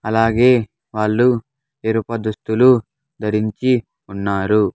అలాగే వాళ్ళు ఎరుప దుస్తులు ధరించి ఉన్నారు.